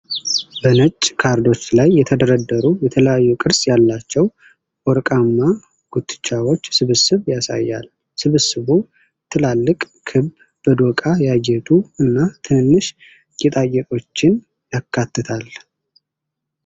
በነጭ ካርዶች ላይ የተደረደሩ የተለያዩ ቅርፅ ያላቸው ወርቃማ ጉትቻዎች ስብስብ ያሳያል። ስብስቡ ትላልቅ ክብ፣ በዶቃ ያጌጡ እና ትንንሽ ጌጣጌጦችን ያካትታል።